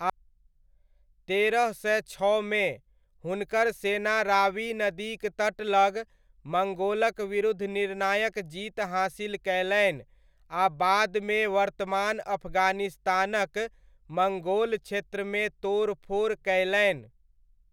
तेरह सय छओमे, हुनकर सेना रावी नदीक तट लग मङ्गोलक विरुद्ध निर्णायक जीत हासिल कयलनि, आ बादमे वर्तमान अफगानिस्तानक मङ्गोल क्षेत्रमे तोड़ फोड़ कयलनि।